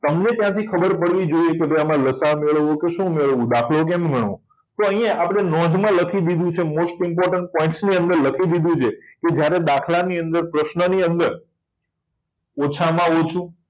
તમને ત્યાંથી ખબર પડવી જોઈએ કે આમાં લસાઅ મેળવો કે શું મેળવવું દાખલો કેવી રીતે ગણવોતો અહીંયા આપણે નોંધમાં લખી દીધું છે most important શું લખી દીધું છે જ્યારે દાખલા નંબર પ્રશ્નની અંદર ઓછામાં ઓછું